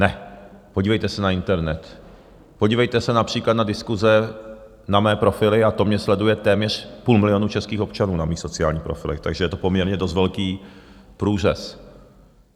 Ne, podívejte se na internet, podívejte se například na diskuse, na mé profily, a to mě sleduje téměř půl milionu českých občanů na mých sociálních profilech, takže to je poměrně dost velký průřez.